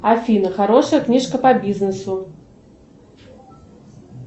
афина хорошая книжка по бизнесу